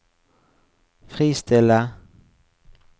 fristille